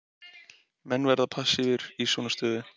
Menn verða passívir í svona stöðu.